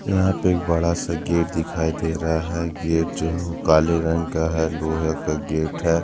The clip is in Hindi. यहां पे एक बड़ा सा गेट दिखाई दे रहा है गेट जो काले रंग का है लोहे का गेट है।